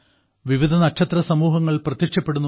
വിവിധ നക്ഷത്രസമൂഹങ്ങൾ പ്രത്യക്ഷപ്പെടുന്നു